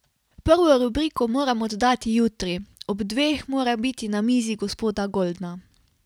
Prvo rubriko moram oddati jutri, ob dveh mora biti na mizi gospoda Goldna.